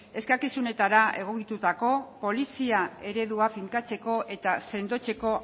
eskakizunetara egokitutako polizia eredua finkatzeko eta sendotzeko